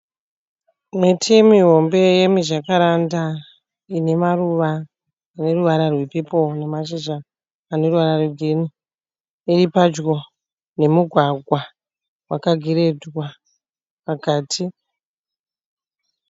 Miti mihombe yemijakaranda ine maruva aneruvara rwe pepoo nemashizha aneruvara rwegirinhi. Iripadyi nemugwagwa wakagirendwa pakati.